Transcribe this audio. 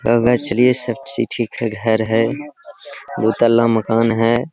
ठीक है घर है दो तल्ला मकान है।